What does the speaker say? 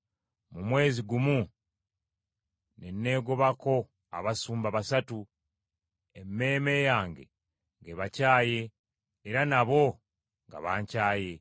Mu mwezi gumu ne neegobako abasumba basatu, emmeeme yange ng’ebakyaye era nabo nga bankyaye.